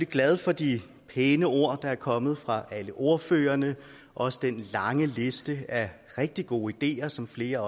glad for de pæne ord der er kommet fra alle ordførerne og også den lange liste af rigtig gode ideer som flere